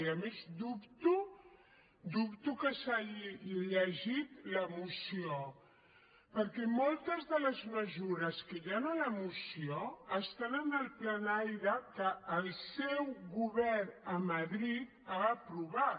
i a més dubto ho dubto que s’hagi llegit la moció perquè moltes de les mesures que hi han a la moció estan en el plan aire que el seu govern a madrid ha aprovat